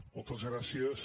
moltes gràcies